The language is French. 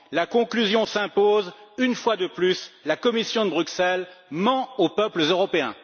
La conclusion s'impose une fois de plus la Commission de Bruxelles ment aux peuples européens.